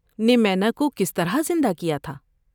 نے مینا کو کس طرح زندہ کیا تھا ؟